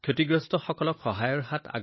সামাজিক ন্যায়ৰ ক্ষেত্ৰত এনে উদাহৰণ বিৰল